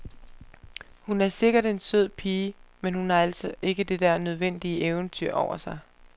Hun er sikkert en sød pige, men hun har altså ikke det der nødvendige eventyr over sig.